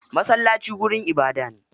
Masallaci wurin ibadah ne.